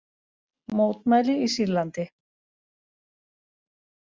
Mótmæli í Sýrlandi